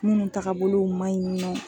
Minnu tagabolow ma ɲi nɔ